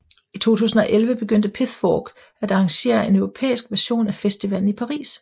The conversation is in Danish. I 2011 begyndte Pithfork at arrangere en europæisk version af festivalen i Paris